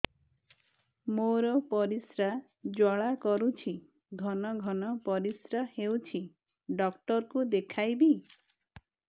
ମୋର ପରିଶ୍ରା ଜ୍ୱାଳା କରୁଛି ଘନ ଘନ ପରିଶ୍ରା ହେଉଛି ଡକ୍ଟର କୁ ଦେଖାଇବି